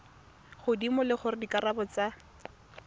godimo le gore dikarabo tsa